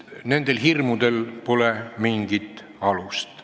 Nendel hirmudel pole mingit alust.